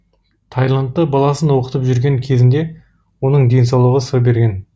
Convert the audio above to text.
тайландта баласын оқытып жүрген кезінде оның денсаулығы сыр берген